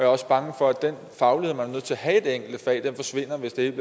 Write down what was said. også bange for at den faglighed man er nødt til at have i det enkelte fag forsvinder hvis det